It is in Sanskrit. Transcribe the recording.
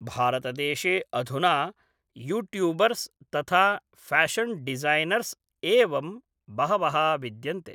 भारतदेशे अधुना यूट्यूबर्स् तथा फ्याषन् डिजैनर्स् एवं बहवः विद्यन्ते